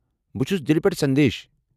بہٕ چھُس دِلہِ پٮ۪ٹھٕ سندیش۔